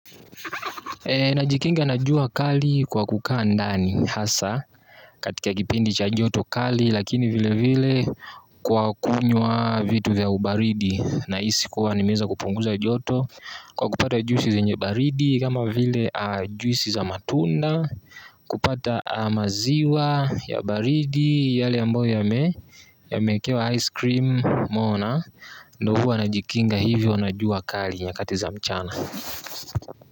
Najikinga na jua kali kwa kukaa ndani hasa katika kipindi cha joto kali lakini vile vile kwa kunywa vitu vya ubaridi nahisi kuwa nimeweza kupunguza joto kwa kupata juisi zenye baridi kama vile juisi za matunda kupata maziwa ya baridi yale ambayo yamekewa ice cream moona, ndo huwa najikinga hivyo na jua kali nyakati za mchana.